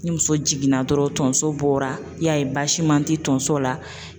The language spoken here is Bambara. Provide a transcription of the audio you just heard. Ni muso jiginna dɔrɔn tonso bɔra i y'a ye basima tɛ tonso la.